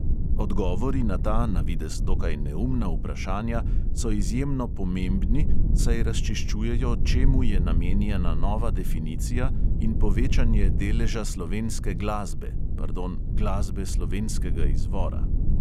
Odgovori na ta, navidez dokaj neumna vprašanja, so izjemno pomembni, saj razčiščujejo čemu je namenjena nova definicija in povečanje deleža slovenske glasbe, pardon, glasbe slovenskega izvora.